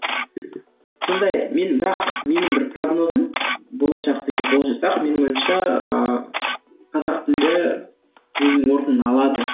сондай менің бірақ менің бір прогнозым болашақты егер болжасақ менің ойымша ыыы қазақ тілі өзінің орнын алады